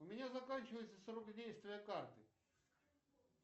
у меня заканчивается срок действия карты